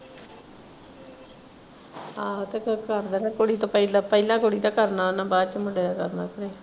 ਆਹੋ ਤੇ ਬਸ ਕਰ ਦੇਣਾ ਕੁੜੀ ਤੋਂ ਪਹਿਲਾਂ ਪਹਿਲਾਂ ਕੁੜੀ ਦਾ ਕਰਨਾ ਬਾਅਦ ਚ ਮੁੰਡੇ ਦਾ ਕਰਨਾ ਫੇਰ।